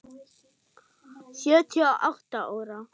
Sjötíu og átta ára.